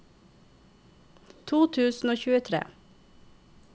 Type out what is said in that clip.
to tusen og tjuetre